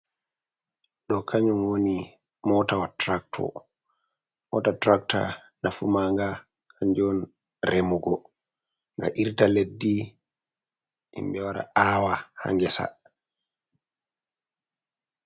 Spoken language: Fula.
Do kanyum woni moto tractor moto tractor nafu manga kanjon remugo ga irta leddi himbe wara awa ha ngesa.